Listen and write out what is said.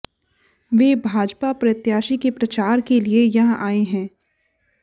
वे भाजपा प्रत्याशी के प्रचार के लिए यहां आए हैं